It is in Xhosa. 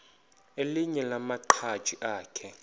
elinye lamaqhaji akhe